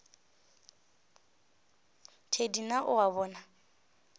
thedi na o a bona